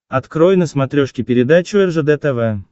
открой на смотрешке передачу ржд тв